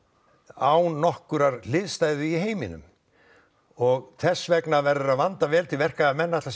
án nokkurrar hliðstæðu í heiminum og þess vegna verður að vanda vel til verka ef menn ætla